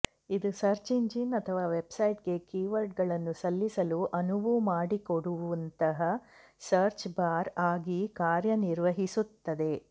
ಇದು search engine ಅಥವಾ ವೆಬ್ಸೈಟ್ಗೆ ಕೀವರ್ಡ್ಗಳನ್ನು ಸಲ್ಲಿಸಲು ಅನುವು ಮಾಡಿಕೊಡುವಂತಹ ಸರ್ಚ್ ಬಾರ್ ಆಗಿ ಕಾರ್ಯನಿರ್ವಹಿಸುತ್ತದೆ